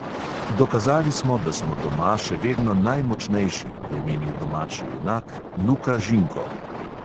Dokazali smo, da smo doma še vedno najmočnejši, je menil domači junak luka žinko.